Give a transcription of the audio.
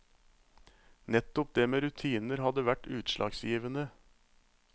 Nettopp det med rutiner hadde vært utslagsgivende.